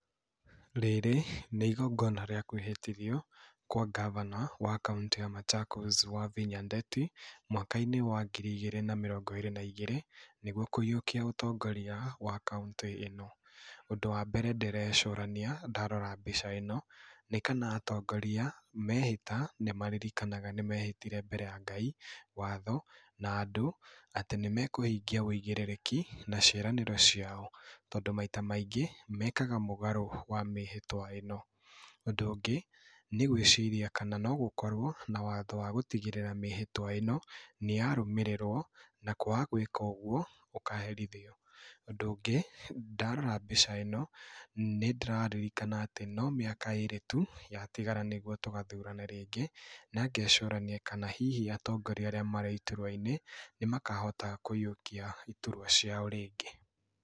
Rĩrĩ nĩ igongona rĩa kwĩhĩtithio kwa gabana wa kaũntĩ ya Machakos Wavinya Ndeti, mwaka-inĩ wa ngiri igĩrĩ na mĩrongo ĩrĩ na igĩri, nĩguo kũyiũkia ũtongoria wa kaũntĩ ĩno. Ũndũ wambere ndĩrecũrania ndarora mbica ĩno, nĩ kana atongoria mehĩta nĩmaririkanaga nĩmehĩtire mbere ya Ngai, watho na andũ atĩ nĩmekũhingia ũigĩrĩrĩki na ciĩranĩro ciao, tondũ maita maingĩ mekaga mũgarũ wa mĩhĩtwa ĩno. Ũndũ ũngĩ nĩgwĩciria kana no gũkorwo na watho wa gũtigĩrĩra mĩhĩtwa ĩno nĩyarũmĩrĩrwo, na kwaga gwĩka ũguo ũkaherithio. Ũndũ ũngĩ, ndarora mbica ĩno nĩndĩraririkana atĩ no mĩaka ĩrĩ tu yatigara nĩguo tũgathurane rĩngĩ na ngecũrania kana hihi atongoria arĩa marĩ iturwa-inĩ nĩmakahota kuiyukia iturwa ciao rĩngĩ.